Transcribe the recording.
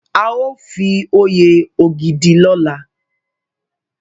A o fi oyè Ogidi lola